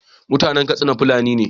Mutanan Katsina fulani ne